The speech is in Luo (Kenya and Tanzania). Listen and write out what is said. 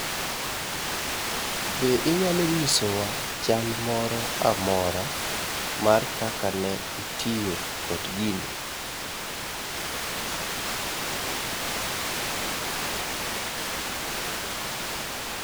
Be inyalo nyisowa chal moro amora mar kaka ne itiyo kod gini?